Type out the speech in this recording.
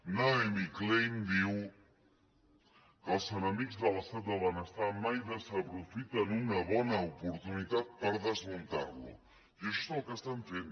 naomi klein diu que els enemics de l’estat del benestar mai desaprofiten una bona oportunitat per desmuntar lo i això és el que estan fent